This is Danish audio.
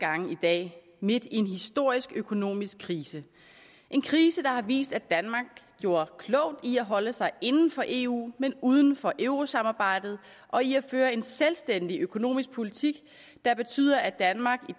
gange i dag midt i en historisk økonomisk krise en krise der har vist at danmark gjorde klogt i at holde sig inden for eu men uden for eurosamarbejdet og i at føre en selvstændig økonomisk politik der betyder at danmark i